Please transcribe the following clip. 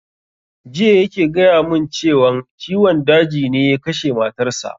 Jiya yake gaya mun cewan ciwon daji ne ya kashe matar sa